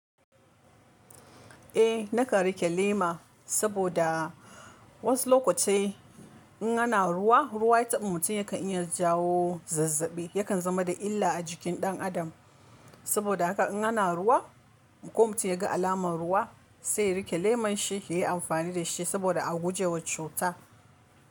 Eh na kan rike lema saboda wasu lokatai in ana ruwa, ruwa ya taba mutum yakan iya jawo zazzabi, yakan zama da illa a jikin ɗan adam. Saboda haka in ana ruwa, ko mutum ya ga alamar ruwa sai ya rike leman shi, ya yi amfani da shi saboda a gujewa cuta.